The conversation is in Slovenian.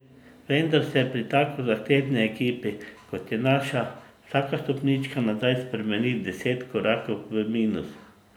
Vendar se pri tako zahtevni ekipi, kot je naša, vsaka stopnička nazaj spremeni v deset korakov v minus.